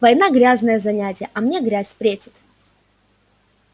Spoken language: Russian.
война грязное занятие а мне грязь претит